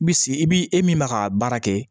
Bi sigi i bi e min ma ka baara kɛ